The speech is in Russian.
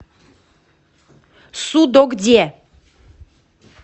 судогде